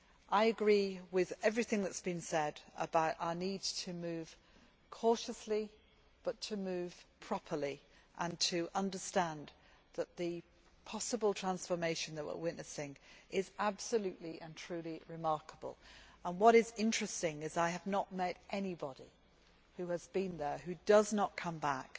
I agree with everything that has been said about our need to move cautiously but properly, and to understand that the possible transformation that we are witnessing is absolutely and truly remarkable. What is interesting is that I have not met anybody who has been there who does not come back